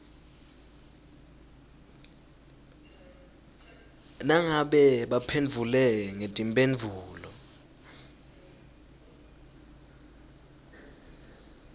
nangabe baphendvule ngetimphendvulo